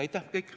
Aitäh!